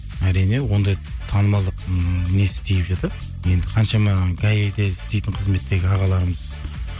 әрине ондай танымалдылықтың несі тиіп жатады енді қаншама гаи де істейтін қызметтегі ағаларымыз